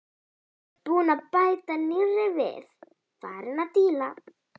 Búinn að bæta nýrri við, farinn að díla.